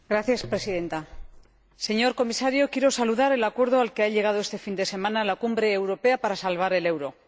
Señora Presidenta, señor Comisario, quiero saludar el acuerdo al que ha llegado este fin de semana la Cumbre Europea para salvar el euro.